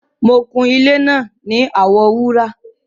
Mọ̀ kún ilẹ̀ náà ní àwọ wúrà